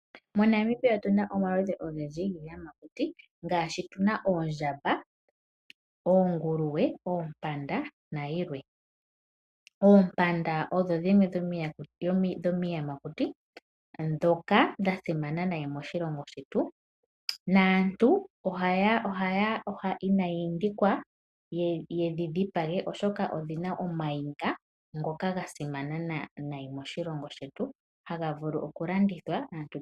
MoNamibia otuna omaludhi ogendji giiyamakuti ngaashi oondjamba , oonguluwe, oompanda nayilwe. Oompanda odho dhimwe dhomiiyamakuti ndhoka dha simana moshilongo shetu . Aantu inaya pitikwa yedhi dhipage molwaashoka omayinga gadho oga simana noonkondo.